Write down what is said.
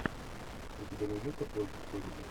у тебя найдется плоть и кости